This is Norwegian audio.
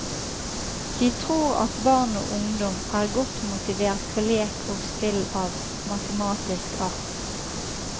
Vi tror at barn og ungdom er godt motivert for lek og spill av matematisk art.